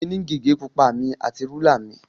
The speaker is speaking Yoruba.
Fún mi ní gègé pupa mi àti rúlà mi.